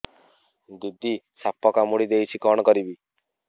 ଦିଦି ସାପ କାମୁଡି ଦେଇଛି କଣ କରିବି